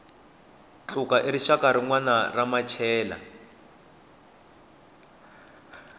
khutla i rixaka rinwana ra machela